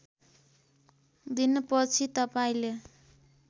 दिन पछि तपाईँले